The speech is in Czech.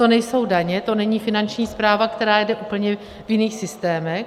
To nejsou daně, to není Finanční správa, která jede v úplně jiných systémech.